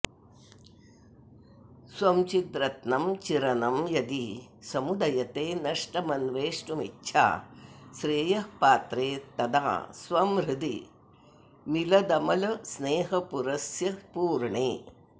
स्वं चिद्रत्नं चिरनं यदि समुदयते नष्टमन्वेष्टुमिच्छा श्रेयःपात्रे तदा स्वं हृदि मिलदमलस्नेहपूरस्य पूर्णे